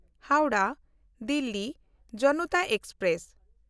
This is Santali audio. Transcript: ᱦᱟᱣᱲᱟᱦ–ᱫᱤᱞᱞᱤ ᱡᱚᱱᱚᱛᱟ ᱮᱠᱥᱯᱨᱮᱥ